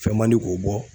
Fɛn man di k'o bɔ